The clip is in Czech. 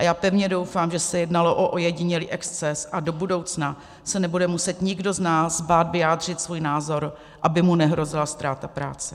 A já pevně doufám, že se jednalo o ojedinělý exces a do budoucna se nebude muset nikdo z nás bát vyjádřit svůj názor, aby mu nehrozila ztráta práce.